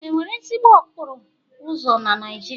Enwere ezigbo okporo ụzọ na Naijiria?